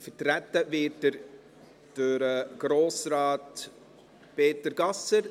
Vertreten wird er durch Grossrat Peter Gasser.